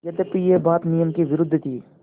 यद्यपि यह बात नियम के विरुद्ध थी